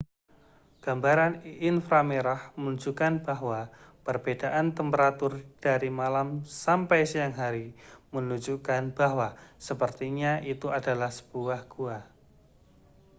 gambaran infra merah menunjukan bahwa perbedaan temperatur dari malam sampai siang hari menunjukkan bahwa sepertinya itu adalah sebuah gua